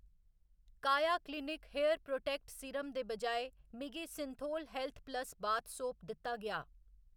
काया clinic hair protect serum दे बजाए, मिगी Cinthol health plus bath soap दित्ता गेआ।